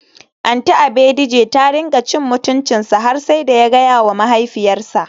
Aunty Abejide ta rinka cin mutuncinsa har sai da ya gayawa mahaifiyarsa.